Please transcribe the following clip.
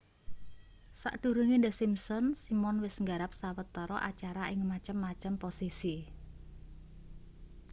sadurunge the simpsons simon wis nggarap sawetara acara ing macem-macem posisi